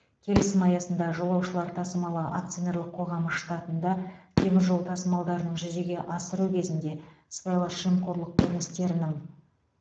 келісім аясында жолаушылар тасымалы акционерлік қоғамы штатында темір жол тасымалдарын жүзеге асыру кезінде сыбайлас жемқорлық көріністерінің